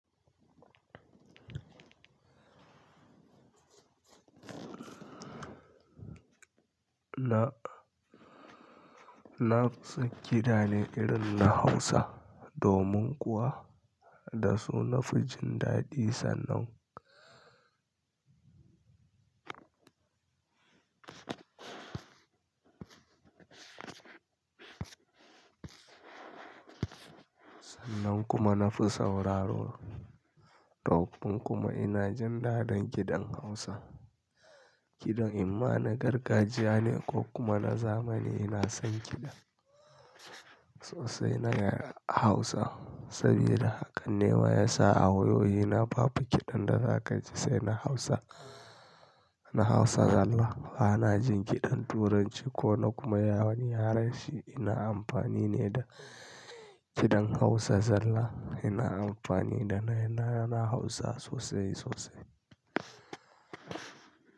Na, na son gida ne irin na Hausa domin kuwa da su nafi jin daɗi sannan. Sannan kuma nafi sauraro. Ɗaukin kuma ina jin daɗin gidan Hausa. Gidan imma na gargajiya ne ko kuma na zamani ina son gidan. Sosai na yarda Hausa saboda haka ne ma ya sa a wayoyi na babu kiɗan da za ka ji sai na Hausa. Na Hausa zalla bana jin kiɗan Turanci ko na kuma yawani harshe ina amfani ne da kiɗan Hausa zalla ina amfani da na Hausa sosai sosai.